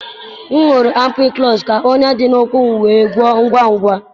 M gụrụ ampikụlọs ka ọnya dị n'ụkwụ m wee gwọọ ngwa ngwa.